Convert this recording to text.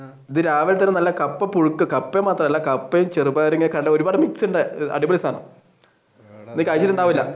രാവിലത്തേക്ക് നല്ല കപ്പ പുഴുക്ക് കപ്പ മാത്രമല്ല കപ്പയും ചെറുപയറും ഒരുപാട് അടിപൊളി സാധനം